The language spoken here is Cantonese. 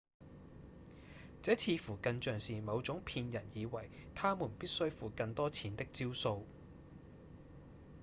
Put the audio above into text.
這似乎更像是某種騙人以為他們必須付更多錢的招數